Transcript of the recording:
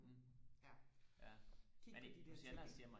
ja kigge på de der ting ikke